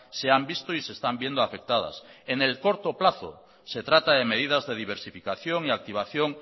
se han visto y se están viendo afectadas en el corto plazo se trata de medidas de diversificación y activación